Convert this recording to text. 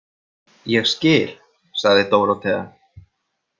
Ég skil, sagði Dórótea.